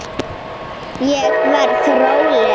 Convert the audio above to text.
Ég verð róleg.